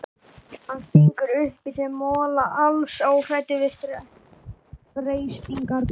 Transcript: Hann stingur upp í sig mola, alls óhræddur við freistingarnar.